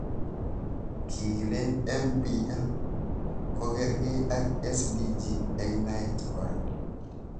Kii kilen MPL kokarkei ak SDG eng naet kora.